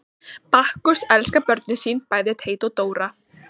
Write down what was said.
Bakkus elskar börnin sín, bæði Teit og Dóra.